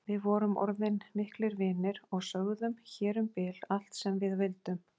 Við vorum orðin miklir vinir og sögðum hér um bil allt sem við vildum.